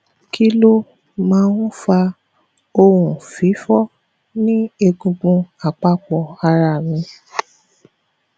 kí ló máa ń fa ohun fifo ni egungun apapo ara mi